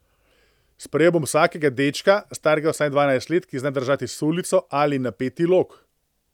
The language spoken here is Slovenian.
Sprejel bom vsakega dečka, starega vsaj dvanajst let, ki zna držati sulico ali napeti lok.